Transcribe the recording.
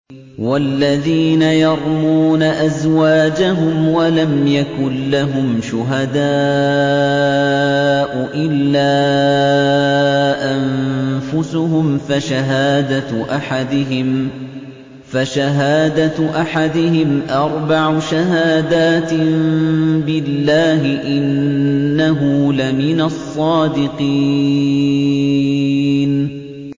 وَالَّذِينَ يَرْمُونَ أَزْوَاجَهُمْ وَلَمْ يَكُن لَّهُمْ شُهَدَاءُ إِلَّا أَنفُسُهُمْ فَشَهَادَةُ أَحَدِهِمْ أَرْبَعُ شَهَادَاتٍ بِاللَّهِ ۙ إِنَّهُ لَمِنَ الصَّادِقِينَ